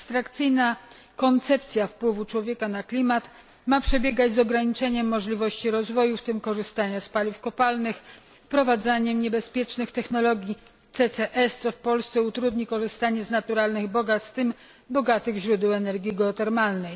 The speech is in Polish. Abstrakcyjna koncepcja wpływu człowieka na klimat ma przebiegać poprzez ograniczenie możliwości rozwoju, w tym korzystania z paliw kopalnych, wprowadzanie niebezpiecznych technologii CCS, co w Polsce utrudni korzystanie z naturalnych bogactw, w tym z bogatych źródeł energii geotermalnej.